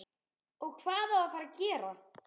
OG HVAÐ Á AÐ FARA AÐ GERA?